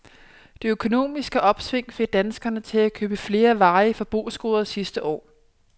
Det økonomiske opsving fik danskerne til at købe flere varige forbrugsgoder sidste år.